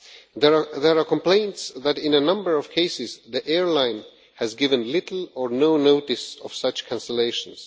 There are complaints that in a number of cases the airline has given little or no notice of such cancellations.